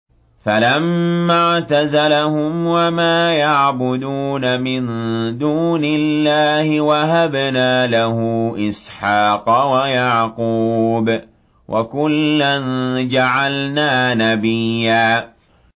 فَلَمَّا اعْتَزَلَهُمْ وَمَا يَعْبُدُونَ مِن دُونِ اللَّهِ وَهَبْنَا لَهُ إِسْحَاقَ وَيَعْقُوبَ ۖ وَكُلًّا جَعَلْنَا نَبِيًّا